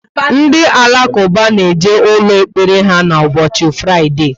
Ndị Alakuba na eje ụlọ ekpere ha ubosi Fraide